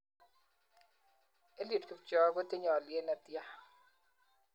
Eliud kipchoge kotinye olyet netian